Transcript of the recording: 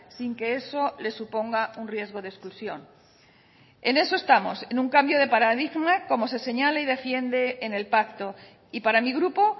sin que eso le suponga un riesgo de exclusión en eso estamos en un cambio de paradigma como se señala y defiende en el pacto y para mi grupo